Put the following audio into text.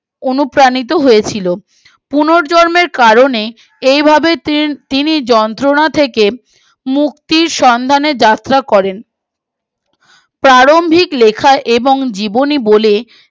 অনুপ্রাণিত হয়েছিল পুনর্জন্মের কারণে এই ভাবে তিনি যন্ত্রনা থেকে মুক্তির সন্ধানে যাত্রা করেন প্রারম্ভিক লেখা এবং জীবনী বলে